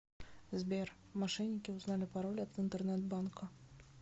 сбер мошенники узнали пароль от интернет банка